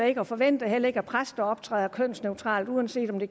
ikke og forventer heller ikke at præster optræder kønsneutralt uanset om det